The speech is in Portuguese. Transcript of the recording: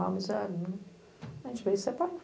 A gente veio e separou.